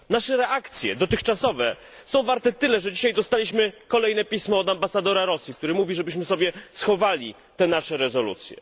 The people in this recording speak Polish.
Nasze dotychczasowe reakcje są warte tyle, że dzisiaj dostaliśmy kolejne pismo od ambasadora Rosji, który mówi żebyśmy sobie schowali te nasze rezolucje.